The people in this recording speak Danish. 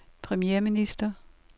premierminister